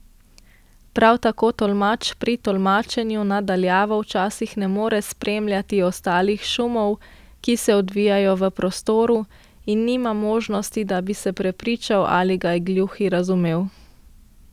Prav tako tolmač pri tolmačenju na daljavo včasih ne more spremljati ostalih šumov, ki se odvijajo v prostoru, in nima možnosti, da bi se prepričal, ali ga je gluhi razumel.